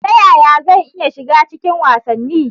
Ta yaya zan iya shiga cikin wasanni?